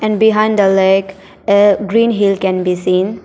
And behind the lake a green hill can be seen.